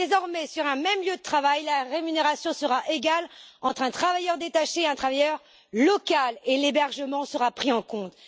Désormais, sur un même lieu de travail, la rémunération sera égale entre un travailleur détaché et un travailleur local et l'hébergement sera pris en compte.